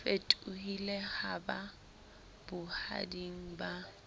fetohile ha ba bohading ba